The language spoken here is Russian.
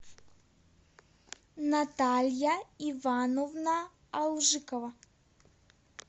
наталья ивановна алжикова